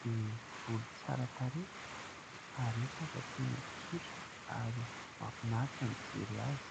dia volo tsara tarehy ary hita fa tena tsotra ary mahafinaritra ny mijery azy.